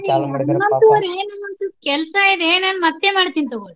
ಹನಮಂತು ಅವ್ರೆ ನನಗೊಂದ ಸ್ವಲ್ಪ ಕೆಲ್ಸಾ ಇದೆ ನಾನ ಮತ್ತೆ ಮಾಡ್ತಿನ ತೊಗೊಳಿ.